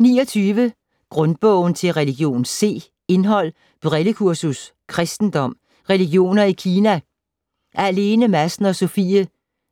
29 Grundbogen til religion C Indhold: Brillekursus ; Kristendom ; Religioner i Kina / af Lene Madsen & Sofie